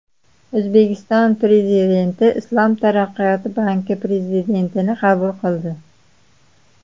O‘zbekiston Prezidenti Islom taraqqiyoti banki prezidentini qabul qildi.